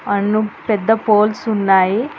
పెద్ద పోల్స్ ఉన్నాయి.